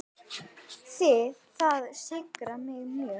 Það syrgir mig mjög.